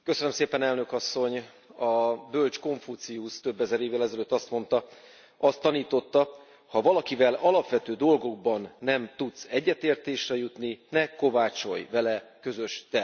A bölcs Konfuciusz több ezer évvel ezelőtt azt mondta, azt tanította ha valakivel alapvető dolgokban nem tudsz egyetértésre jutni, ne kovácsolj vele közös terveket.